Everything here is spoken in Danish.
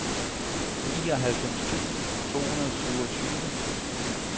nioghalvfems tusind to hundrede og syvogtyve